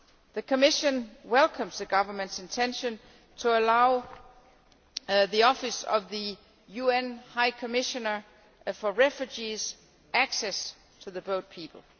The Commission welcomes the Government's intention to allow the Office of the UN High Commissioner for Refugees access to the boat people.